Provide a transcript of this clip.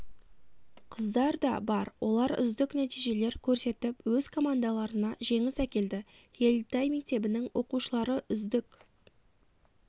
қыздар да бар олар үздік нәтижелер көрсетіп өз командаларына жеңіс әкелді ельтай мектебінің оқушылары үздік